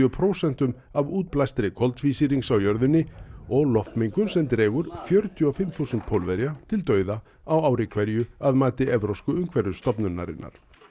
prósentum af útblæstri koltvísýrings á jörðinni og loftmengun sem dregur fjörutíu og fimm þúsund Pólverja til dauða á ári hverju að mati Evrópsku umhverfisstofnunarinnar